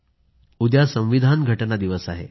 खरंय उद्या संविधान दिवस आहे